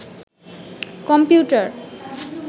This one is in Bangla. কমিপউটার